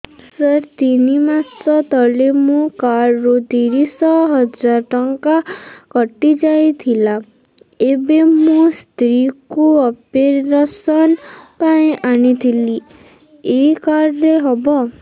ସାର ତିନି ମାସ ତଳେ ମୋ କାର୍ଡ ରୁ ତିରିଶ ହଜାର ଟଙ୍କା କଟିଯାଇଥିଲା ଏବେ ମୋ ସ୍ତ୍ରୀ କୁ ଅପେରସନ ପାଇଁ ଆଣିଥିଲି ଏଇ କାର୍ଡ ରେ ହବ